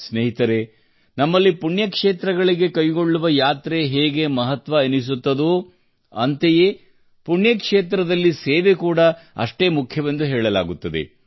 ಸ್ನೇಹಿತರೇ ನಮ್ಮಲ್ಲಿ ಪುಣ್ಯಕ್ಷೇತ್ರಗಳಿಗೆ ಕೈಗೊಳ್ಳುವ ಯಾತ್ರೆ ಹೇಗೆ ಮಹತ್ವವೆನಿಸುತ್ತದೋ ಅಂತೆಯೇ ಪುಣ್ಯಕ್ಷೇತ್ರದಲ್ಲಿ ಸೇವೆ ಕೂಡಾ ಅಷ್ಟೇ ಮುಖ್ಯವೆಂದು ಹೇಳಲಾಗುತ್ತದೆ